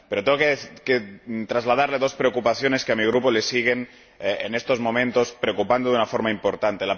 Pero tengo que trasladarle dos cuestiones que a mi Grupo le siguen, en estos momentos, preocupando de una forma importante.